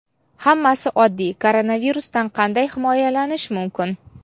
Hammasi oddiy: koronavirusdan qanday himoyalanish mumkin?.